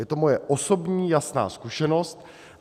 Je to moje osobní jasná zkušenost.